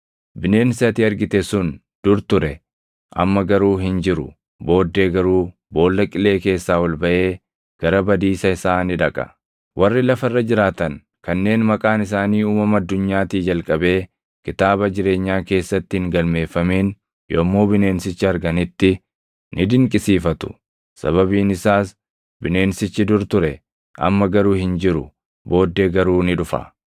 Bineensi ati argite sun dur ture; amma garuu hin jiru; booddee garuu Boolla Qilee keessaa ol baʼee gara badiisa isaa ni dhaqa. Warri lafa irra jiraatan kanneen maqaan isaanii uumama addunyaatii jalqabee kitaaba jireenyaa keessatti hin galmeeffamin yommuu bineensicha arganitti ni dinqisiifatu; sababiin isaas bineensichi dur ture; amma garuu hin jiru; booddee garuu ni dhufa.